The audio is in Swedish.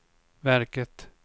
verket